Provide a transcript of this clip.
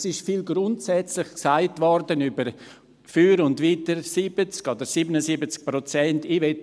Es wurde viel Grundsätzliches für und wider die 70 oder 77 Prozent gesagt.